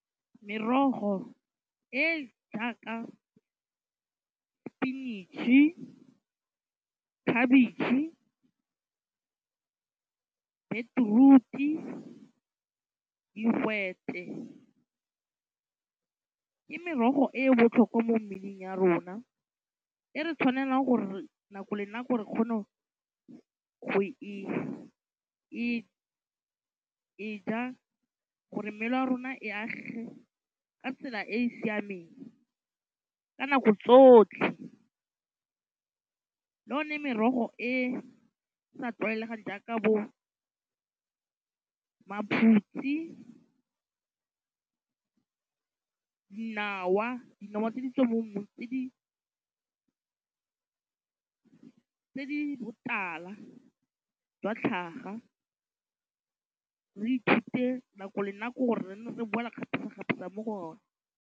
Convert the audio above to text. Merogo e jaaka sepinatšhe, khabetšhe, beetrooti, digwete ke merogo e e botlhokwa mo mmeleng ya rona e re tshwanelang gore nako le nako re kgone go e e ja gore mmele wa rona e agege ka tsela e e siameng ka nako tsotlhe, le yone merogo e sa tlwaelegang jaaka bo maphutsi, dinawa, dinawa tse di tswang mo tse di botala jwa tlhaga re ithute nako le nako gore re nne re beola kgapetsakgapetsa mo go one.